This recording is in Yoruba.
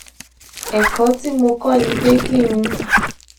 èkó tí mo kó ni pé kí n